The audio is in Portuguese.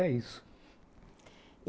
É isso.